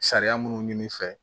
Sariya munnu ɲini fɛ